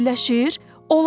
Quşlar birləşir?